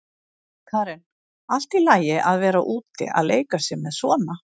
Karen: Allt í lagi að vera úti að leika með svona?